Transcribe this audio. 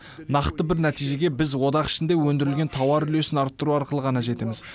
нақты бір нәтижеге біз одақ ішінде өндірілген тауар үлесін арттыру арқылы ғана жетеміз